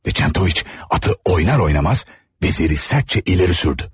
Və Çentoviç atı oynar oynamaz veziri sərcə irəli sürdü.